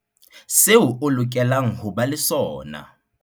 Seo o lokelang ho ba le sona